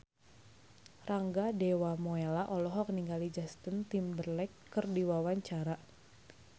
Rangga Dewamoela olohok ningali Justin Timberlake keur diwawancara